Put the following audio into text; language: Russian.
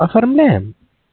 оформляем